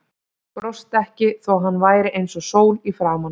Brosti ekki þó að hann væri eins og sól í framan.